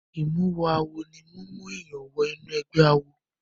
Ìmúmọ-awọ ní mímú èèyàn wọ inú ẹ̀gbẹ́ awo.